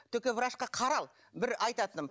только врачқа қарал бір айтатыным